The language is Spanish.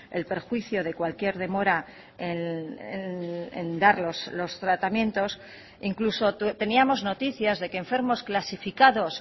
el perjuicio de cualquier demora en dar los tratamientos incluso teníamos noticias de que enfermos clasificados